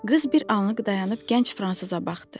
Qız bir anlıq dayanıb gənc fransıza baxdı.